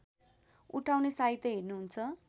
उठाउने साइत हेर्नुहुन्छ